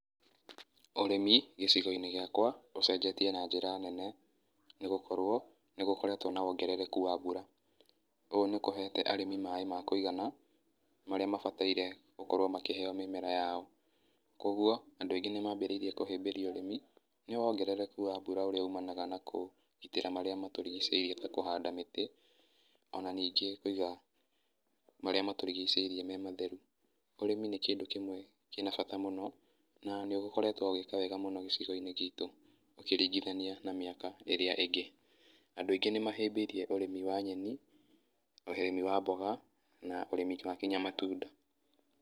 Ũrĩmi, gĩcĩgo-inĩ gĩakwa, ũcenjetie na njĩra nene nĩ gũkorwo nĩ gũkoretwo na wongerereku wa mbura. Ũũ nĩ kũhete arĩmi maĩ ma kũigana marĩa mabataire gũkorwo makĩheo mĩmera yao. Kwoguo, andũ aingĩ nĩ mambĩrĩirie kũhĩmbĩria ũrĩmi nĩ wongerereku wa mbura ũrĩa umanaga na kũgitĩra marĩa matũrigicĩirie ta kũhanda mĩtĩ o na ningĩ kũiga marĩa matũrigicĩirie me matheru. Ũrĩmi nĩ kĩndũ kĩmwe kĩna bata mũno na nĩ ũkoretwo ũgĩka wega mũno gĩcigo-inĩ gitũ ũkĩringithania na mĩaka ĩrĩa ĩngĩ. Andũ aingĩ nĩ mahĩmbĩirie ũrĩmi wa nyeni, ũrĩmi wa mboga na ũrĩmi wa nginya matunda.